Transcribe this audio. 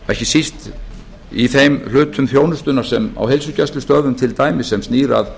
ekki síst í þeim hlutum þjónustunnar á heilsugæslustöðvum til dæmis sem snýr að